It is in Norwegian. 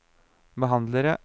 behandlere